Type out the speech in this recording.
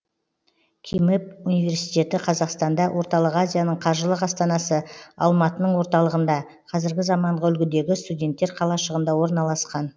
кимэп университеті қазақстанда орталық азияның қаржылық астанасы алматының орталығында қазіргі заманғы үлгідегі студенттер қалашығында орналасқан